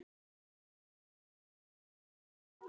Já, hann minntist á það nokkrum sinnum